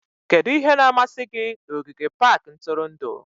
Kedu ihe na-amasị gị na ogige pak ntụrụndụ?